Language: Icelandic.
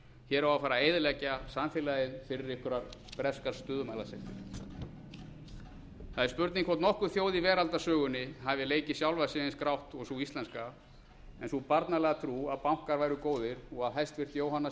hér á að fara að eyðileggja samfélagið fyrir einhverjar breskar stöðumælasektir það er spurning hvort nokkur þjóð í veraldarsögunni hafi leikið sjálfa sig eins grátt og sú íslenska en sú barnalega trú að bankar væru góðir og að hæstvirtur jóhanna